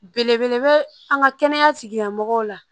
Belebele bɛ an ka kɛnɛya tigilamɔgɔw la